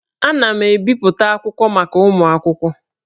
Ana m ebipụta akwụkwọ maka ụmụ akwụkwọ